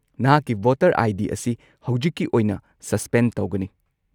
ꯅꯍꯥꯛꯀꯤ voter ID. ꯑꯁꯤ ꯍꯧꯖꯤꯛꯀꯤ ꯑꯣꯏꯅ ꯁꯁꯄꯦꯟ ꯇꯧꯒꯅꯤ꯫